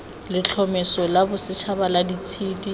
letlhomeso la bosetšhaba la ditshedi